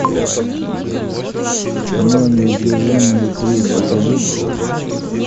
кино неудержимые три покажи